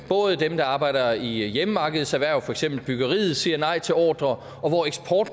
dem der arbejder i hjemmemarkedserhverv for eksempel i byggeriet siger nej til ordrer